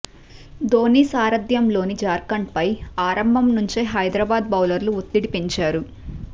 ధోనీ సారథ్యంలోని జార్ఖండ్పై ఆరంభం నుంచే హైదరాబాద్ బౌలర్లు ఒత్తిడి పెంచారు